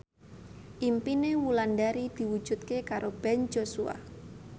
impine Wulandari diwujudke karo Ben Joshua